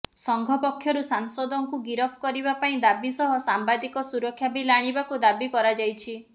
ସଂଘ ପକ୍ଷରୁ ସାଂସଦଙ୍କୁ ଗିରଫ କରିବା ପାଇଁ ଦାବି ସହ ସାମ୍ବାଦିକ ସୁରକ୍ଷା ବିଲ୍ ଆଣିବାକୁ ଦାବି କରାଯାଇଛି